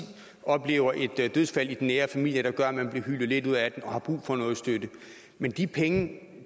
oplever et dødsfald i den nære familie der gør at man bliver hylet lidt ud af den og har brug for noget støtte men de penge